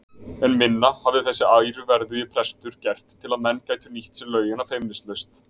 En minna hafði þessi æruverðugi prestur gert til að menn gætu nýtt sér laugina feimnislaust.